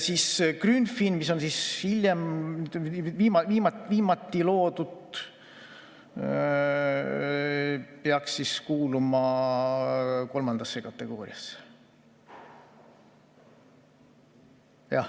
Grünfin, mis on hiljem, viimati loodud, peaks kuuluma kolmandasse kategooriasse.